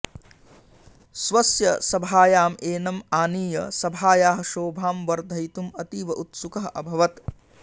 स्वस्य सभायाम् एनम् आनीय सभायाः शोभां वर्धयितुम् अतीव उत्सुकः अभवत्